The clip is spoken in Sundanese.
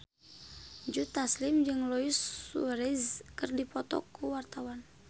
Joe Taslim jeung Luis Suarez keur dipoto ku wartawan